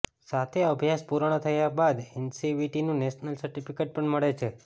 સાથે અભ્યાસ પૂર્ણ થયા બાદ એનસીવીટીનું નેશનલ સર્ટીફીકેટ પણ મળે છે